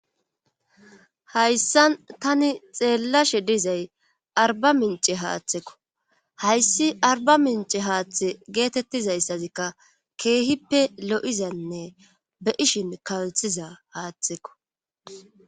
Hayssan tani xeellashe dizay arba mince haatheko;hayssi arbamincce haathi geetettizayssazikka keehippe lo7izanne be7ishin kalsiza haathekko.